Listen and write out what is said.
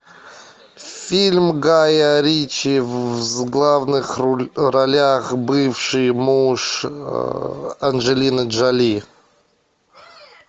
фильм гая ричи в главных ролях бывший муж анджелины джоли